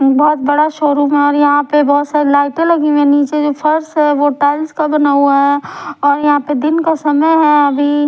बहुत बड़ा शोरूम है और यहां पे बहुत सारी लाइटें लगी हुई हैं नीचे जो फर्श है वो टाइल्स का बना हुआ है और यहां पे दिन का समय है अभी।